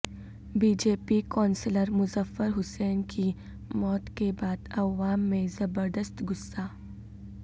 be J P councillor Muzaffar Hussain کی موت کے بعد عوام میںزبردست غصہ